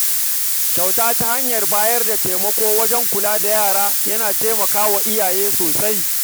Kyauta ta hanyar bayar da taimako wajen kula da yara tana taimakawa iyaye sosai.